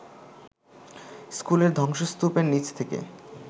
স্কুলের ধ্বংসস্তূপের নিচ থেকে